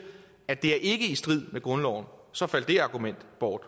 at det ikke er i strid med grundloven så faldt det argument bort